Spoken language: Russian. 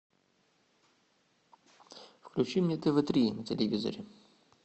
включи мне тв три на телевизоре